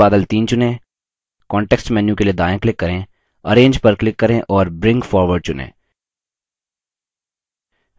फिर बादल 3 चुनें context menu के लिए दायाँ click करें arrange पर click करें और bring forward चुनें